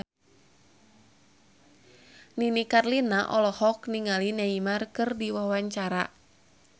Nini Carlina olohok ningali Neymar keur diwawancara